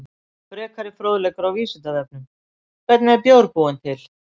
Frekari fróðleikur á Vísindavefnum: Hvernig er bjór búinn til?